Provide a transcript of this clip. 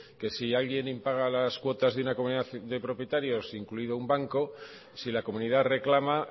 que si alguien impaga las cuotas de una comunidad de propietarios incluido un banco si la comunidad reclama